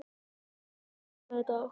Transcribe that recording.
Herbjört, mun rigna í dag?